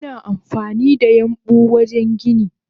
Ana amfanida yambu wajen gini.